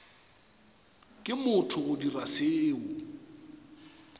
ke motho go dira seo